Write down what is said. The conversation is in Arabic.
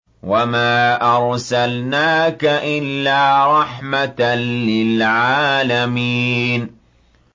وَمَا أَرْسَلْنَاكَ إِلَّا رَحْمَةً لِّلْعَالَمِينَ